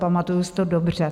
Pamatuji si to dobře.